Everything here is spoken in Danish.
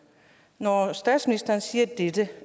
når statsministeren siger dette